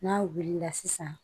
N'a wulila sisan